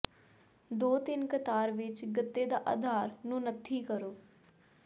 ਦੋ ਤਿੰਨ ਕਤਾਰ ਵਿੱਚ ਗੱਤੇ ਦਾ ਅਧਾਰ ਨੂੰ ਨੱਥੀ ਕਰੋ